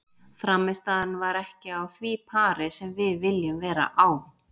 Frammistaðan var ekki á því pari sem við viljum vera á.